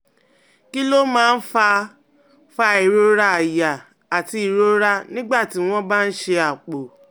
Kí ló máa ń fa fa ìrora àyà àti ìrora nígbà tí wọ́n bá ń ṣe àpò?